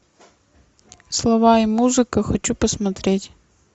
слова и музыка хочу посмотреть